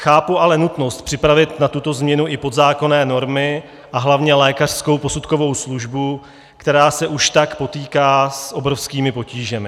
Chápu ale nutnost připravit na tuto změnu i podzákonné normy a hlavně lékařskou posudkovou službu, která se už tak potýká s obrovskými potížemi.